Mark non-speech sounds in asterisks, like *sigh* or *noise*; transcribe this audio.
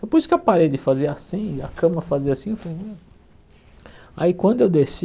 Depois que a parede fazia assim, e a cama fazia assim, *unintelligible* aí quando eu desci,